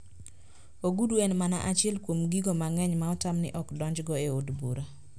Ogudu en mana achiel kuom gigo mang`eny ma otam ni ok donjgo e od bura